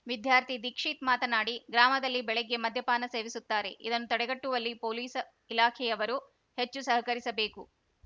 ವಿದ್ಯಾರ್ಥಿ ದೀಕ್ಷಿತ್‌ ಮಾತನಾಡಿ ಗ್ರಾಮದಲ್ಲಿ ಬೆಳಿಗ್ಗೆ ಮದ್ಯಪಾನ ಸೇವಿಸುತ್ತಾರೆ ಇದನ್ನು ತಡೆಗಟ್ಟುವಲ್ಲಿ ಪೊಲೀಸ್‌ ಇಲಾಖೆಯವರು ಹೆಚ್ಚು ಸಹಕರಿಸಬೇಕು